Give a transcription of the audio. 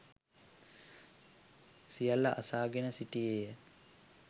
සියල්ල අසාගෙන සිටියේ ය.